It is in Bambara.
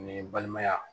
Ni balimaya